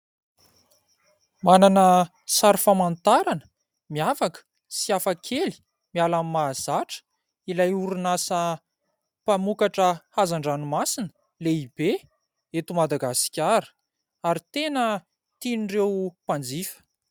Manana sary famantarana miavaka sy hafakely miala amin'ny mahazatra ilay orinasa mpamokatra hazan-dranomasina lehibe eto Madagasikara ary tena tian'ireo mpanjifa.